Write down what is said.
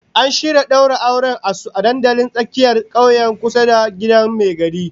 An shirya daura auren su a dandalin tsakiyar kauye kusa da gidan mai gari